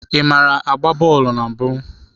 Ị maara agba bọọlụ na mbụ?